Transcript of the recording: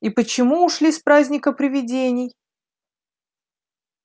и почему ушли с праздника привидений